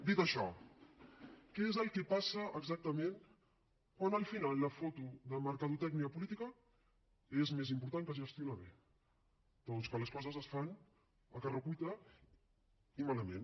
dit això què és el que passa exactament quan al final la foto de mercadotècnia política és més important que gestionar bé doncs que les coses es fan a correcuita i malament